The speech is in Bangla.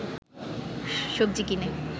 সবজি কিনে